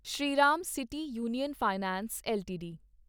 Shriram city union finance LTD